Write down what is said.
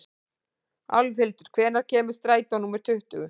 Álfhildur, hvenær kemur strætó númer tuttugu?